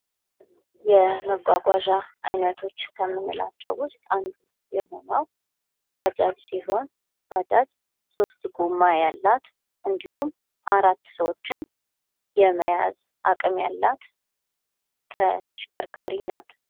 የመጓጓዣ አይነቶች ከምንላቸው ውስጥ አንዱ የሆነው ባጃጅ ሲሆን ባጃጅ ሶስት ጎማ ያላት እንዲሁም አራት ሰዎችን የመያዝ አቅም ያላት ተሽከርካሪ ናት።